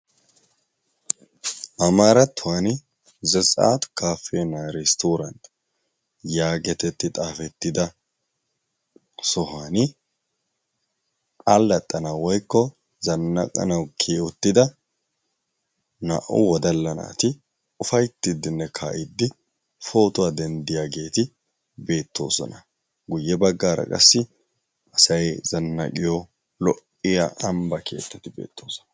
Amaarattuwani zetsaat kaappeenna eresttoorant yaagetetti xaafettida sohuwani allaxxanawu woykko zannaqqanawu kiyi uttida naa"u wodalla naati ufayttiiddinne kaa'iiddi pootuwa denddiyageeti beettoosona. Guyye baggaara qassi asay zannaqiyo lo"iya ambba keettati beettoosona.